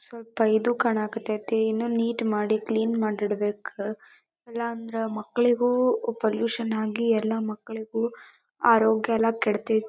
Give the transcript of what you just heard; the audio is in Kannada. ಸ್ವಲ್ಪ ಇದು ಕಾಣಾಕತ್ತೈತಿ ಇನ್ನು ನೀಟ್ ಮಾಡಿ ಕ್ಲೀನ್ ಮಾಡಿ ಇಡಬೇಕ ಇಲ್ಲಂದ್ರ ಮಕ್ಕಳಿಗೂ ಪೊಲ್ಲ್ಯೂಷನ್ ಆಗಿ ಎಲ್ಲ ಮಕ್ಕಳಿಗೂ ಆರೋಗ್ಯ ಯಲ್ಲ ಕೆಡತೇ --